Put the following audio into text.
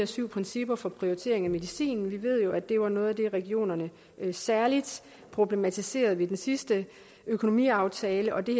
syv principper for prioritering af medicin vi ved jo at det var noget af det regionerne særlig problematiserede ved den sidste økonomiaftale og det